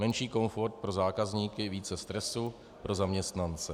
Menší komfort pro zákazníky, více stresu pro zaměstnance.